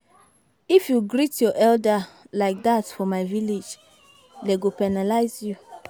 If you greet your elder like dat for my village dey go penalize you